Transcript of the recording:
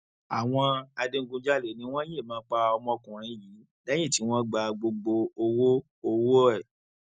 àwọn adigunjalè ni wọn yìnbọn pa ọmọkùnrin yìí lẹyìn tí wọn gba gbogbo owó owó ẹ